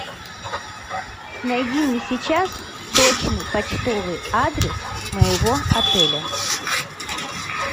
найди мне сейчас точный почтовый адрес моего отеля